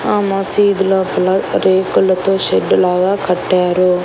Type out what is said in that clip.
ఆ మసీదు లోపల రేకులతో షెడ్డు లాగా కట్టారు.